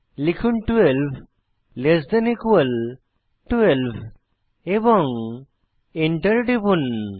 লিখুন 12 less than equal 12 এবং enter টিপুন